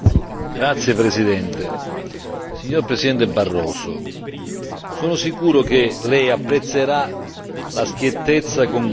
Signor Presidente Barroso, sono sicuro che lei apprezzerà la schiettezza con cui mi rivolgo a lei quest'oggi.